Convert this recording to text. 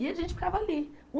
E a gente ficava ali.